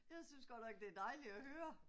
Jeg synes godt nok det er dejligt at høre